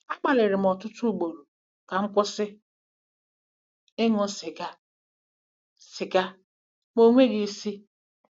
Agbalịrị m ọtụtụ ugboro ka m kwụsị ịṅụ sịga sịga ma o nweghị isi.